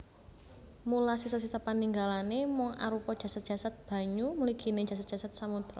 Mula sisa sisa paninggalané mung arupa jasad jasad banyu mliginé jasad jasad samodra